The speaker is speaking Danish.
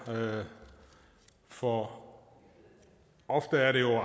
for ofte er det jo